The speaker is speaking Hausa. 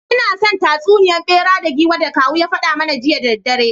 Ina son tatsuniya bera da giwa da kawun ya fada mana jiya da daddare…